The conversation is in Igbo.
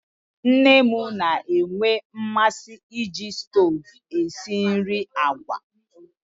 Nne m na-enwe mmasị iji stovu esi nri agwa